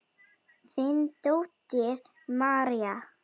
Þín dóttir, María.